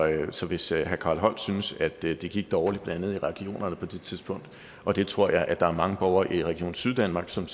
så hvis herre carl holst synes at det det gik dårligt blandt andet i regionerne på det tidspunkt og det tror jeg der var mange borgere i region syddanmark som